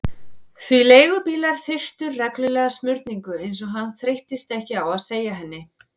Því leigubílar þurftu reglulega smurningu, eins og hann þreyttist ekki á að segja henni.